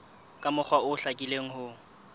ka mokgwa o hlakileng ho